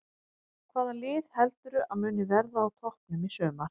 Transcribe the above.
Hvaða lið heldurðu að muni verða á toppnum í sumar?